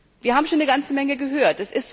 Wir haben schon eine ganze Menge gehört.